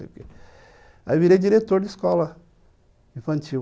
Aí eu virei diretor de escola infantil.